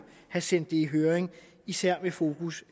have sendt det i høring især med fokus